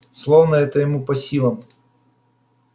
словно это ему по силам